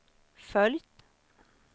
följt